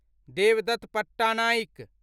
Devdutt Pattanaik